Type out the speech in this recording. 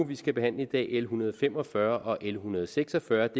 vi skal behandle i dag l en hundrede og fem og fyrre og l en hundrede og seks og fyrre